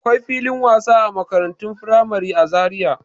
Akwai filin wasa a makarantun firamare a Zariya.